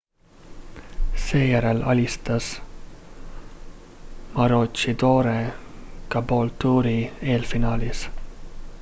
seejärel alistas maroochydore caboolture'i eelfinaalis